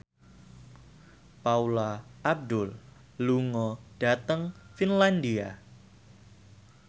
Paula Abdul lunga dhateng Finlandia